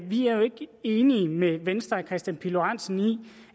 enige med venstre og herre kristian pihl lorentzen i